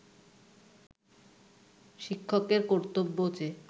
শিক্ষকের কর্তব্য যে